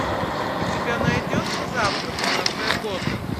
у тебя найдется завтрак в кафе готэм